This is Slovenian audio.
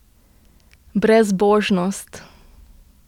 Brezbožnost!